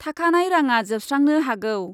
थाखानाय राङा जोबस्रांनो हागौ ।